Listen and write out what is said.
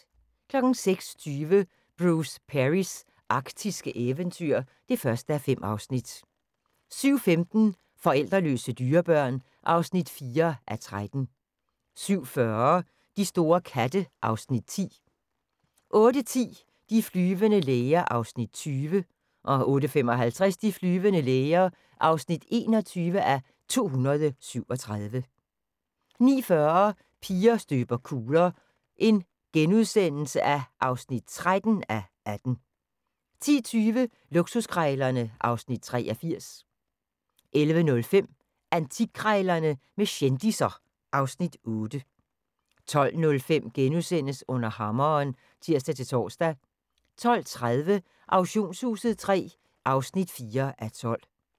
06:20: Bruce Perrys arktiske eventyr (1:5) 07:15: Forældreløse dyrebørn (4:13) 07:40: De store katte (Afs. 10) 08:10: De flyvende læger (20:237) 08:55: De flyvende læger (21:237) 09:40: Piger støber kugler (13:18)* 10:20: Luksuskrejlerne (Afs. 83) 11:05: Antikkrejlerne med kendisser (Afs. 8) 12:05: Under hammeren *(tir-tor) 12:30: Auktionshuset III (4:12)